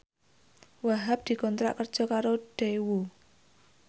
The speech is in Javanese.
Wahhab dikontrak kerja karo Daewoo